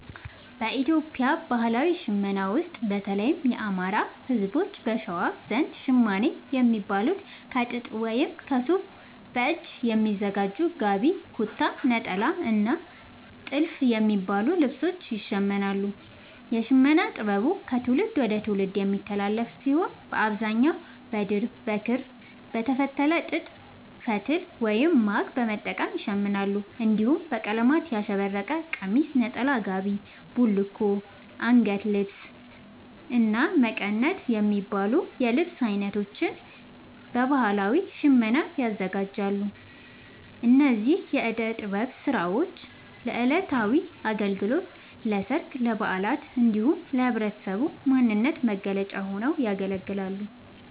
በኢትዮጵያ ባህላዊ ሽመና ውስጥ፣ በተለይም የአማራ፣ ህዝቦች(በሸዋ) ዘንድ ‘ሸማኔ’ የሚባሉት ከጥጥ ወይም ከሱፍ በእጅ በሚሰሩ ‘ጋቢ’፣ ‘ኩታ’፣ ‘ኔጣላ’ እና ‘ቲልፍ’ የሚባሉ ልብሶችን ይሽምናሉ። የሽመና ጥበቡ ከትውልድ ወደ ትውልድ የሚተላለፍ ሲሆን፣ በአብዛኛው በድር፣ በክር፣ በተፈተለ ጥጥ ፈትል(ማግ) በመጠቀም ይሸምናሉ። እንዲሁም በቀለማት ያሸበረቀ ቀሚስ፣ ነጠላ፣ ጋቢ፣ ቡልኮ፣ አንገት ልብስ(ጦሊት)፣እና መቀነት የሚባሉ የልብስ አይነቶችን በባህላዊ ሽመና ያዘጋጃሉ። እነዚህ የእደ ጥበብ ስራዎች ለዕለታዊ አገልግሎት፣ ለሠርግ፣ ለበዓላት እንዲሁም ለህብረተሰቡ ማንነት መገለጫ ሆነው ያገለግላሉ።